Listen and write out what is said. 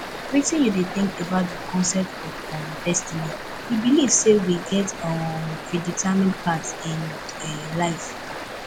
wetin you dey think about di concept of um destiny you believe say we get a um predetermined path in um life